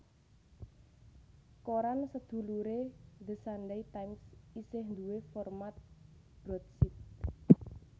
Koran seduluré The Sunday Times isih duwé format broadsheet